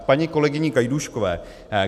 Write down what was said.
K paní kolegyni Gajdůškové.